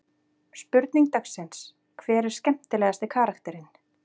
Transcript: Spurning dagsins: Hver er skemmtilegasti karakterinn?